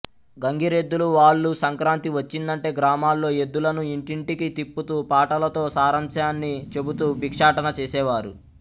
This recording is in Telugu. గంగిరెద్దులు వాళ్లు సంక్రాంతి వచ్చిందంటే గ్రామాల్లో ఎద్దులను ఇంటింటికి తిప్పుతూ పాటలతో సారాంశాన్ని చెబుతూ భిక్షాటన చేసేవారు